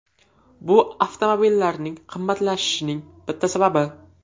Bu avtomobillarning qimmatlashishining bitta sababi.